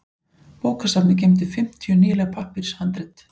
Bókasafnið geymdi fimmtíu nýleg pappírshandrit.